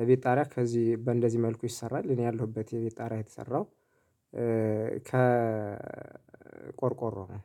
የቤት ጣሪያ ከዚህ በእንደዚህ መልኩ ይሰራል። እኔ ያለሁበት የቤት ጣራ የተሰራው ከ ቆርቆሮ ነው